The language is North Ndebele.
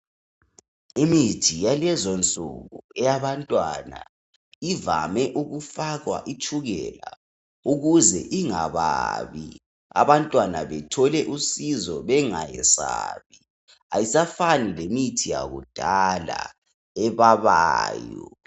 Imithi yalezonsuku yabantwana ivame ukufakwa itshukele ukuze ingababi abantwana bethole usizo bengayesabi ayisafani lemithi yakudala ebabayo